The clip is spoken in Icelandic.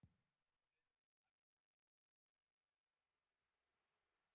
Sömuleiðis voru menn gjarnan teknir af lífi með hengingu á föstudegi í Bretlandi.